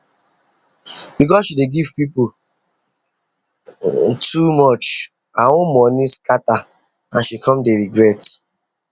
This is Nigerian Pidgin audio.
because she dey give people too much her own money scatter and she come dey regret